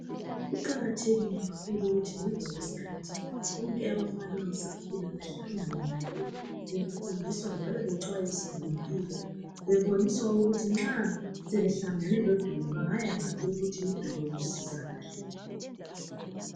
Kuqakathekile kakhulu ukuthi ngemva kwesikhathi bonke abafana abasakhulayo behlangane ndawonye befundiswa njalo bexhayiswa ngempilo beboniswa ukuthi nxa sebehlangane lodubo bangaqonda ngaphi